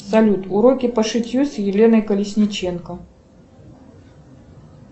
салют уроки по шитью с еленой колесниченко